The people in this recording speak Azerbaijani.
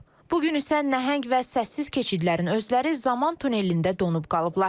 Bu gün isə nəhəng və səssiz keçidlərin özləri zaman tunelində donub qalıblar.